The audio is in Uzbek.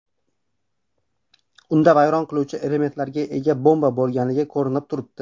Unda vayron qiluvchi elementlarga ega bomba bo‘lgani ko‘rinib turibdi.